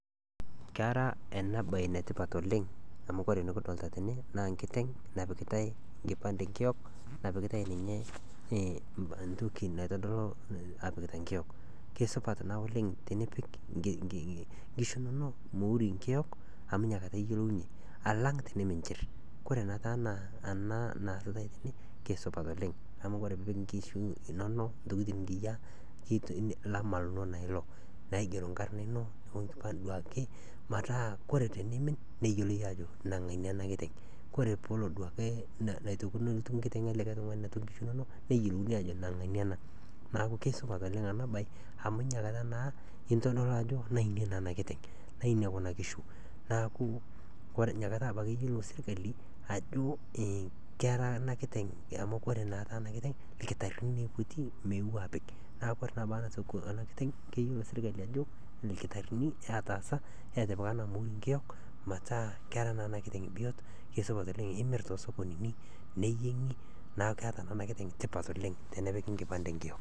Kera enabaye netipat oleng amu ore nikidolita tene naa enkiteng napikie nkipande enkiyok. Kesidai oleng enchorota nachor ngotenye nkerai amu kore naa nkerai keyeu, kore sesen le nkerai kenana naa kekumok nyamaliritin naatum. Kore taa iltikana otiuaa ilmaasae otiuwaa ilo tokitin oojing looshori ,oojing nkejek nejing nkaik, nejing' sunta, naaku kore ngotonye nenare pootum atoshora nkerai enye ,atoshora nkaik, atoshora nkejek, neshor nkoriong ,neshor ndapi oonkejek, weji pooki, neel akinyi, kore peel newen achor, achor, achor sesen pooki, naa kesupat naa nkerai osesen, meitoki atum nenai moyaritin, meitoki atum lelo kutiti iltikana, meitoki atum lelo kutiti ooshori, naa inakata naa esupatu nkerai osesen, naaku kesupat oleng teneshor ngotenye nkerai awen ale ashorchor.